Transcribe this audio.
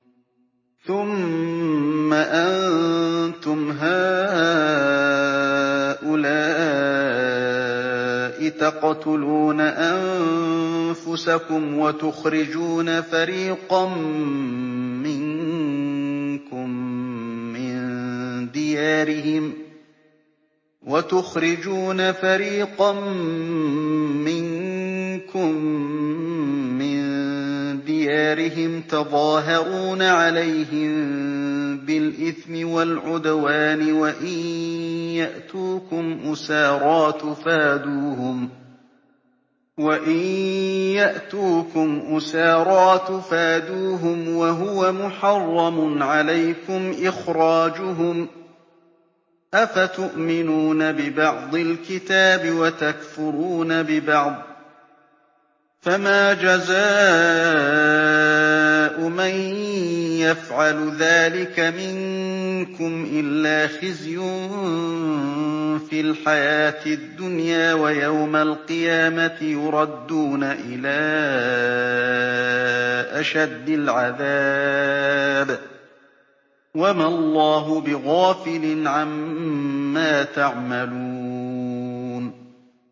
ثُمَّ أَنتُمْ هَٰؤُلَاءِ تَقْتُلُونَ أَنفُسَكُمْ وَتُخْرِجُونَ فَرِيقًا مِّنكُم مِّن دِيَارِهِمْ تَظَاهَرُونَ عَلَيْهِم بِالْإِثْمِ وَالْعُدْوَانِ وَإِن يَأْتُوكُمْ أُسَارَىٰ تُفَادُوهُمْ وَهُوَ مُحَرَّمٌ عَلَيْكُمْ إِخْرَاجُهُمْ ۚ أَفَتُؤْمِنُونَ بِبَعْضِ الْكِتَابِ وَتَكْفُرُونَ بِبَعْضٍ ۚ فَمَا جَزَاءُ مَن يَفْعَلُ ذَٰلِكَ مِنكُمْ إِلَّا خِزْيٌ فِي الْحَيَاةِ الدُّنْيَا ۖ وَيَوْمَ الْقِيَامَةِ يُرَدُّونَ إِلَىٰ أَشَدِّ الْعَذَابِ ۗ وَمَا اللَّهُ بِغَافِلٍ عَمَّا تَعْمَلُونَ